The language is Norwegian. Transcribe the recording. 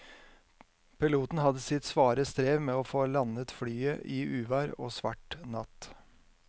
Piloten hadde sitt svare strev med å få landet flyet i uvær og svart natt.